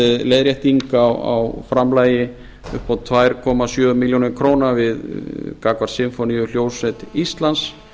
leiðrétting á framlagi upp á tvö komma sjö milljónir króna gagnvart sinfóníuhljómsveit íslands